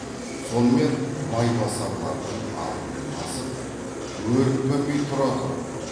сонымен майбасарлардың алқынын басып өрікпімей тұра тұр